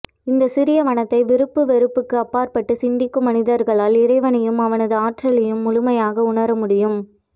இந்த சிறிய வனத்தை விருப்பு வெறுப்புக்கு அப்பார்பட்டு சிந்திக்கும் மனிதர்களால் இறைவனையும் அவனது ஆற்றலையும் முழுமையாக உணர முடியும்